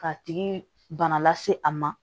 K'a tigi bana lase a ma